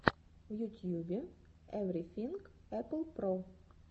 в ютьюбе эврифинг эппл про